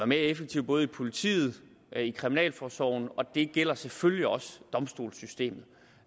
mere effektive både i politiet og i kriminalforsorgen og det gælder selvfølgelig også domstolssystemet